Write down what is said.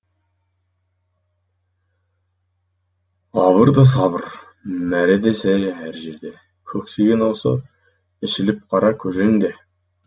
абыр да сабыр мәре де сәре әр жерде көксеген осы ішіліп қара көжең де